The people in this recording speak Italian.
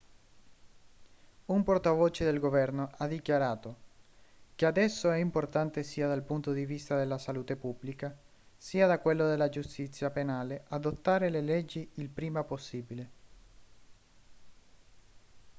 un portavoce del governo ha dichiarato che adesso è importante sia dal punto di vista della salute pubblica sia da quello della giustizia penale adottare le leggi il prima possibile